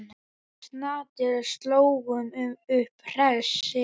Við Snati slógum upp hreysi.